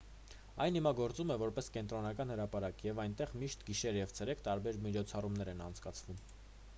այն հիմա գործում է որպես կենտրոնական հրապարակ և այնտեղ միշտ գիշեր և ցերեկ տարբեր միջոցառումներ են անցկացվում